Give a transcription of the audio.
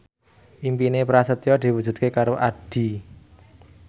impine Prasetyo diwujudke karo Addie